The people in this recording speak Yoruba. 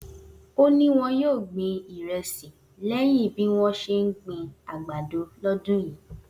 O ni won yoo gbin iresi leyin bi won se n gbin agbado lodun yii